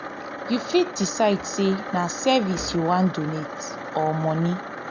you fit decide sey na service you wan donate or money or money